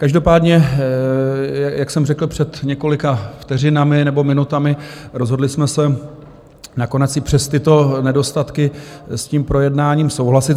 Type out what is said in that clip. Každopádně, jak jsem řekl před několika vteřinami nebo minutami, rozhodli jsme se nakonec i přes tyto nedostatky s tím projednáním souhlasit.